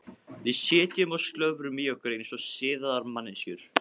Við sitjum og slöfrum í okkur eins og siðaðar manneskjur.